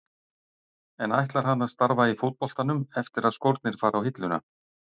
En ætlar hann að starfa í fótboltanum eftir að skórnir fara á hilluna?